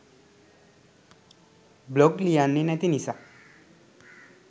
blog ලියන්නෙ නැති නිසා